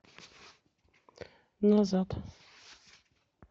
назад